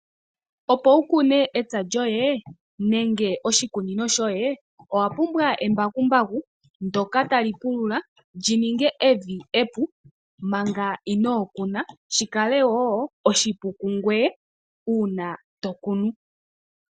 Opo wu kune epya lyoye nenge oshikunino shoye owa pumbwa embakumbaku ndoka tali pulula opo li ninge evi epu manga inoo kuna , shi kale wo oshipu komuntu uuna ta kunu .